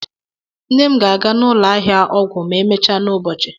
Nne m ga-aga ụlọ ahịa ọgwụ ma emechaa n'ụbọchị.